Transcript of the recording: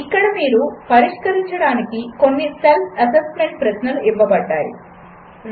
ఇక్కడ మీరు పరిష్కరించడానికి కొన్ని సెల్ఫ్ అసెస్మెంట్ ప్రశ్నలు ఇవ్వబడినవి 1